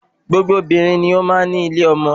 Gbogbo obìnrin ni ó máa ń ní ilé ọmọ